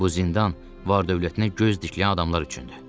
Bu zindan var-dövlətinə göz dikən adamlar üçündür.